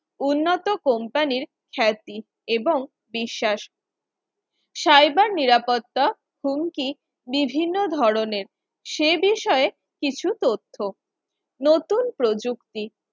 উন্নত company র খ্যাতি এবং বিশ্বাস সাইবার নিরাপত্তা হুমকি বিভিন্ন ধরনের সে বিষয়ে কিছু তথ্য নতুন প্রযুক্তি